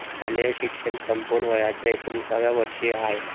शालेय शिक्षण संपवून वयाच्या एकोणिसाव्या वर्षी आय.